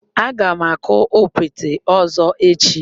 Aga m akụ okpete ọzọ echi.